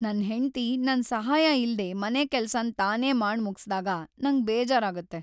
ನನ್ ಹೆಂಡ್ತಿ ನನ್ ಸಹಾಯ ಇಲ್ದೆ ಮನೆಕೆಲಸನ್ ತಾನೇ ಮಾಡ್ ಮುಗ್ಸಿದಾಗ ನಂಗ್ ಬೇಜಾರಾಗುತ್ತೆ.